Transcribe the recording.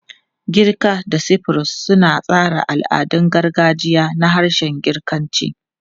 Girka da Cyprus suna tsara al'adun gargajiya na harshen Girkanci.